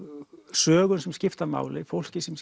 sögum sem skipta máli fólki sem